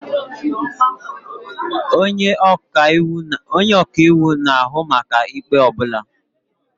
Onye ọka iwu na-ahụ maka ikpe ọ bụla.